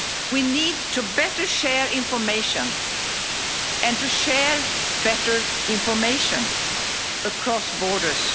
We need to better share information and to share better information across borders.